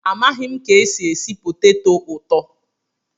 Amaghị m ka esi esi poteto ụtọ